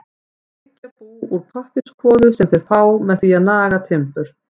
Þeir byggja bú úr pappírskvoðu sem þeir fá með því að naga timbur.